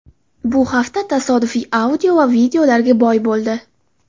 Bu hafta tasodifiy audio va videolarga boy bo‘ldi .